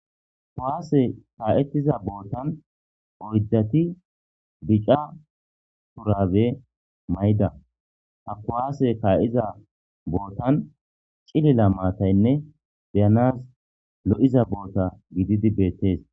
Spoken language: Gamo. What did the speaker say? kuwaase kaa'ettiza bootan oyddati bica shurabe mayda ha kuwaase kaa'iza bootan cilila maataynne beyanas lo'iza boota gididi beettees